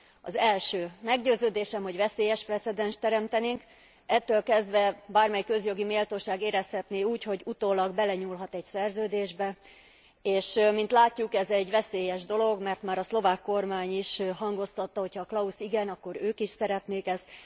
Az első meggyőződésem, hogy veszélyes precedenst teremtenénk, ettől kezdve bármelyik közjogi méltóság érezhetné úgy, hogy utólag belenyúlhat egy szerződésbe, és mint látjuk, ez egy veszélyes dolog, mert már a szlovák kormány is hangoztatta, hogy ha Klaus igen, akkor ők is szeretnék ezt.